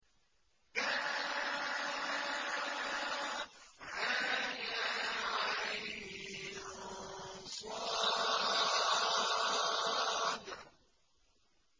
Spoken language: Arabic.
كهيعص